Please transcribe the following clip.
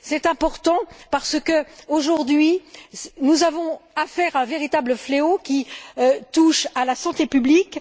C'est important parce que, aujourd'hui, nous avons affaire à un véritable fléau qui touche à la santé publique.